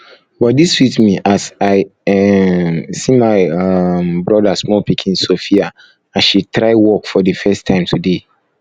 body sweet me as i um see my um brother small pikin sophia um as she try walk for the first time today